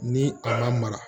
Ni a ma mara